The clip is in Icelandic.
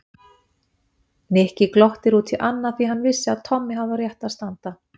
Nikki glotti út í annað því hann vissi að Tommi hafði á réttu að standa.